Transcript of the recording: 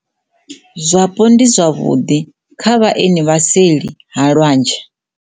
Zwapo ndi zwavhuḓikha vhaeni vha seli ha lwanzhe.